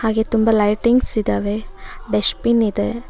ಈ ತುಂಬ ಲೈಟಿಂಗ್ಸ್ ಇದಾವೆ ಡಷ್ಟ್ಬಿನ್ ಇದೆ.